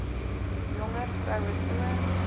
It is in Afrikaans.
jonger vroue toon